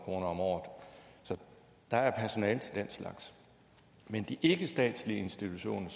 kroner om året så der er personale til den slags men de ikkestatslige institutioner